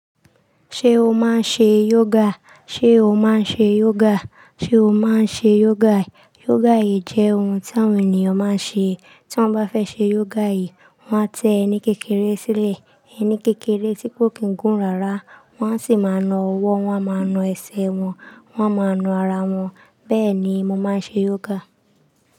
Ṣé o máa ń ṣe yoga? Ṣé o máa ń ṣe yoga? Ṣé o máa ń ṣe yoga? Yoga jẹ́ ohun tí àwọn ènìyàn máa ń ṣe. Tí wọ́n bá fẹ́ ṣe yoga yìí, wọ́n a tẹ ẹni kékeré sílẹ̀. Ẹni kékeré tí kò kín gún rara. Wọ́n a sì máa ń na ọwọ́, wọ́n a máa ń na ẹsẹ̀ wọn, wọ́n a máa ń na ara wọn. Bẹ́ẹ̀ ni mo máa ń ṣe yoga.